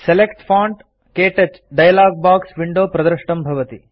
select font - क्तौच dialog box window प्रदृष्टं भवति